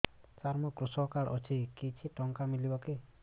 ସାର ମୋର୍ କୃଷକ କାର୍ଡ ଅଛି କିଛି ଟଙ୍କା ମିଳିବ କି